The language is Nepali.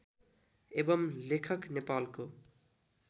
एवम् लेखक नेपालको